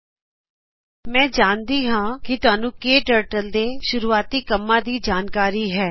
ਕਟਰਟਲ ਵਰਜ਼ਨ081 ਬੇਟਾ ਮੈਂ ਜਾਣਦੀ ਹਾਂ ਕਿ ਤੁਹਾਨੂੰ ਕੇ ਟਰਟਲ ਦੇ ਸ਼ੂਰੁਆਤੀ ਕੰਮਾ ਦੀ ਜਾਣਕਾਰੀ ਹੈ